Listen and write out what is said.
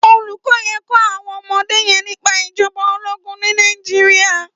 Ólúkò yèn n kò áwòn òmòdé yèn nipá ijòbá ólógùn ni Nàijiriá